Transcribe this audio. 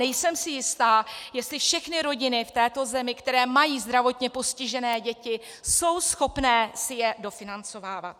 Nejsem si jistá, jestli všechny rodiny v této zemi, které mají zdravotně postižené děti, jsou schopné si je dofinancovávat.